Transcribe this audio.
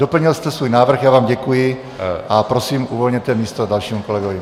Doplnil jste svůj návrh, já vám děkuji, a prosím, uvolněte místo dalšímu kolegovi.